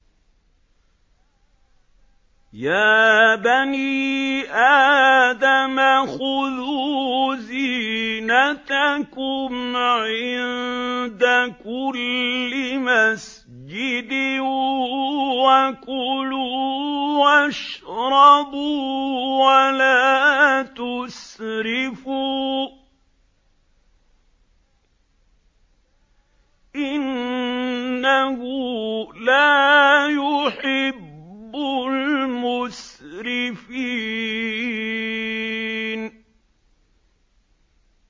۞ يَا بَنِي آدَمَ خُذُوا زِينَتَكُمْ عِندَ كُلِّ مَسْجِدٍ وَكُلُوا وَاشْرَبُوا وَلَا تُسْرِفُوا ۚ إِنَّهُ لَا يُحِبُّ الْمُسْرِفِينَ